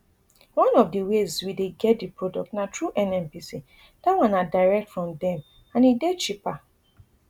one of di ways we dey get di product na through nnpc dat one na direct from dem and e dey cheaper